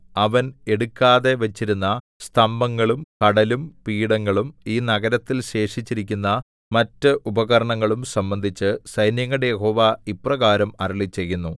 അവൻ എടുക്കാതെ വച്ചിരുന്ന സ്തംഭങ്ങളും കടലും പീഠങ്ങളും ഈ നഗരത്തിൽ ശേഷിച്ചിരിക്കുന്ന മറ്റ് ഉപകരണങ്ങളും സംബന്ധിച്ച് സൈന്യങ്ങളുടെ യഹോവ ഇപ്രകാരം അരുളിച്ചെയ്യുന്നു